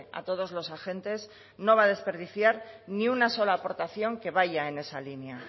a todos los agentes no va a desperdiciar ni una sola aportación que vaya en esa línea